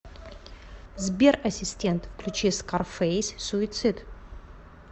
сбер ассистент включи скарфейс суицид